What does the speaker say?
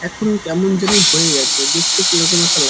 এখন কেমন জানি হয়ে গেছে দেখতে কিরকম একটা লা--